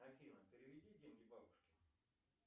афина переведи деньги бабушке